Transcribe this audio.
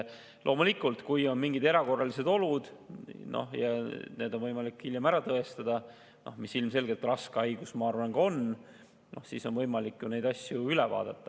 Loomulikult, kui on mingid erakorralised olud ja need on võimalik hiljem ära tõestada – ilmselgelt ka raske haigus seda on, ma arvan –, siis on võimalik neid asju üle vaadata.